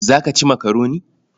Za ka ci makaroni?